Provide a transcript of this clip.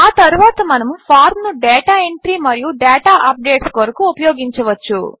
ఆ తరువాత మనము ఫార్మ్ ను డేటా ఎంట్రీ మరియు డేటా అప్డేట్స్ కొరకు ఉపయోగించవచ్చు